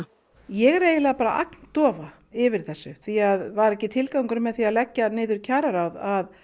ég er eiginlega bara agndofa yfir þessu því var ekki tilgangurinn með því að leggja niður kjararáð að